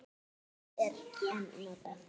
Annars er en notað.